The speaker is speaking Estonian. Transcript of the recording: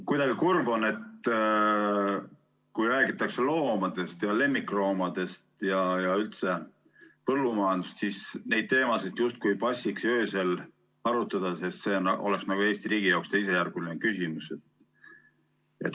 Kuidagi kurb on, et kui räägitakse loomadest ja lemmikloomadest ja üldse põllumajandusest, siis neid teemasid justkui ei passiks öösel arutada, sest see oleks nagu Eesti riigi jaoks teisejärguline küsimus.